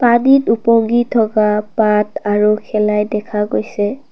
পানীত ওপঙি থকা পাত আৰু শেলাই দেখা গৈছে।